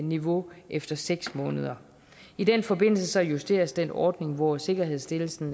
niveau efter seks måneder i den forbindelse justeres den ordning hvor sikkerhedsstillelsen